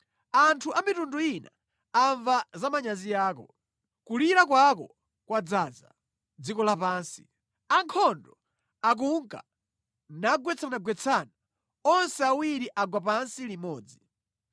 Anthu a mitundu ina amva za manyazi ako; kulira kwako kwadzaza dziko lapansi. Ankhondo akunka nagwetsanagwetsana, onse awiri agwa pansi limodzi.”